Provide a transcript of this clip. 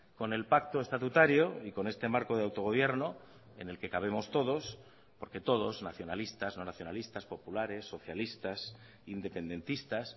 con el pacto estatutario y con este marco de autogobierno en el que cabemos todos porque todos nacionalistas no nacionalistas populares socialistas independentistas